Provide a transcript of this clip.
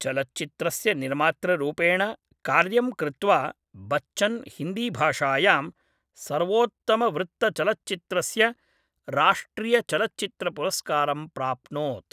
चलच्चित्रस्य निर्मातृरूपेण कार्यं कृत्वा बच्चन् हिन्दीभाषायां सर्वोत्तमवृत्तचलच्चित्रस्य राष्ट्रियचलच्चित्रपुरस्कारं प्राप्नोत्।